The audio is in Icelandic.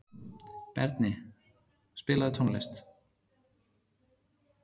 Berni, spilaðu tónlist.